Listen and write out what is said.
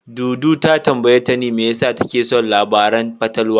Dudu ta tambayi Tani me yasa take son labaran fatalwa.